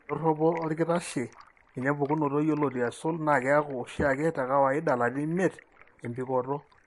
Endoropo orkitashie, ninye empukunoto yioloti aisul naa keaku oshiake tekawaida ilarin imiet embikoto.